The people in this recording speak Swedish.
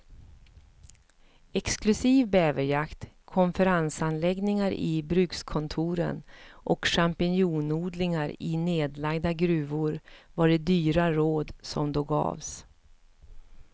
Exklusiv bäverjakt, konferensanläggningar i brukskontoren och champinjonodlingar i nedlagda gruvor var de dyra råd som då gavs.